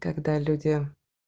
когда люди